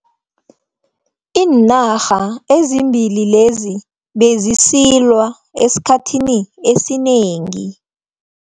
Iinarha ezimbili lezi bezisilwa esikhathini esinengi.